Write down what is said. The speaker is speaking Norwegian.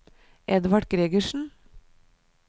Edvard Gregersen